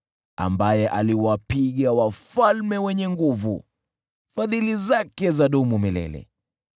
Ambaye aliwapiga wafalme wenye nguvu, Fadhili zake zadumu milele .